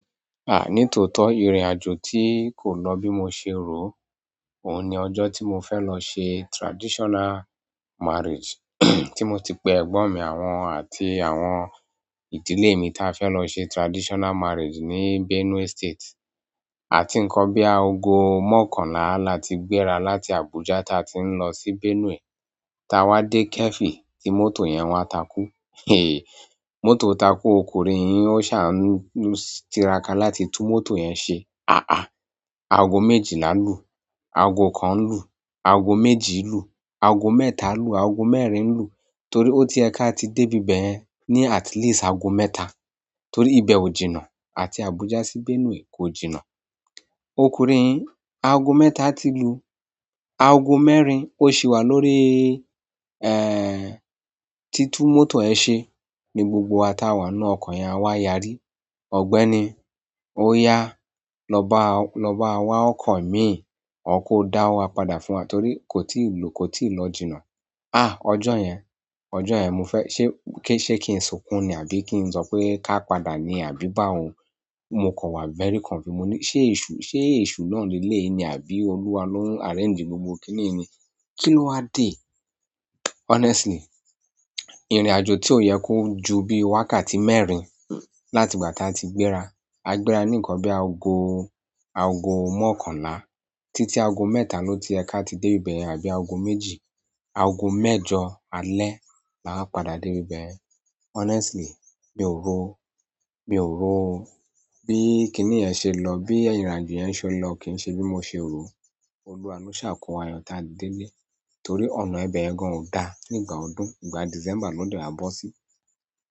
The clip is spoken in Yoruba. À, ní tòótọ́ ìrìnàjò tí kò lọ bí mo ṣe rò ó. Òun ni ọjọ́ tí mo fẹ́ lọ ṣe traditional marriage, tí mo ti pe ẹ̀gbọ́n mi àwọn àti àwọn ìdílé mi tí a fẹ́ lọ ṣe traditional marriage ní Benue State. A ti ń kọ bí a ogo mọ́kànlá la ti gbéra láti Abuja táa ti ń lọ sí Benue. Táa wá dé kẹ́fì tí mọ́tò yẹn wá takú. Mọ́tò takú o, kò rín yín ó ṣà ń, ó ń, tiraka láti tú mọ́tò yẹn ṣe. À-à, aago méjìlá lù, aago kan lù, aago méjì lù, aago mẹ́ta lù, aago mẹ́rin lù torí ó ti yẹ ká ti dé ibẹ̀yẹn ní at least aago mẹ́ta. Torí ibẹ̀ ò jìnnà àti Abuja sí Benue kò jìnnà. Ọkùnrin yìn aago mẹ́ta ti lù, aago mẹ́rin ó ṣì wà lórí, ẹ́ẹ̀, títú mọ́tò ẹ ṣe ní gbogbo táa wà nínú ọkọ̀ yẹn á wá yarí. Ọ̀gbẹ́ni ó yá, "Lọ bá, lọ bá wa ọkọ̀ mi, or kó dá owó wa padà fún wa torí kò tíì lù, kò tí ì lọ jìnnà." À, ọjọ́ yẹn, ọjọ́ yẹn mo fẹ́ ṣé, kí ṣe kí n sunkún ni àbí kí n sọ pé ká padà ni àbí bá báwo? Mo kàn wa very confused mo ní "Ṣé èṣù, ṣé èṣù náà leléyìí ni àbí Olúwa ló ń arrange gbogbo kínní ni? Kí ló wá dé?" Honestly, ìrìnàjò tí ò yẹ kó ju bí wákàtí mẹ́rin láti ìgbà tá a ti gbéra. A gbéra ní nǹkan bí aago, aago mọ́kànlá títí aago mẹ́ta ló ti yẹ ká ti dé ibẹ̀yẹn àbí aago méjì. Aago mẹ́jọ alẹ́ la wá padà dé ibẹ̀yẹn. Honestly, mi ò rò o, mi ò rò o bí kínní yẹn ṣe lọ, bí ìrìnàjò yẹn ṣe ó lọ kì í ṣe bí mo ṣe rò ó. Olúwa ló sà kó wa yọ taá dele torí ọ̀nà yẹn gan ò dáa nígbà ọdún ìgbà December ló dẹ̀ a bọ́ sí.